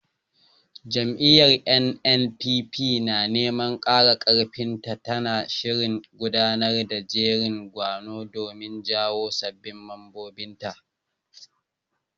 Jam'iyyar NNPP, na neman ƙara ƙarfin ta, tana shirin gudanar da jerin gwano domin jawo sabbin mambobinta.